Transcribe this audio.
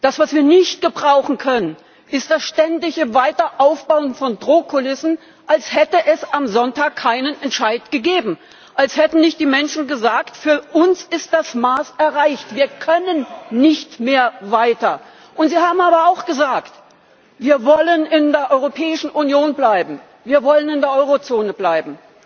Das, was wir nicht gebrauchen können, ist das ständige Weiteraufbauen von Drohkulissen, als hätte es am Sonntag keinen Entscheid gegeben, als hätten nicht die Menschen gesagt Für uns ist das Maß erreicht, wir können nicht mehr weiter. Sie haben aber auch gesagt Wir wollen in der Europäischen Union bleiben, wir wollen in der Eurozone bleiben.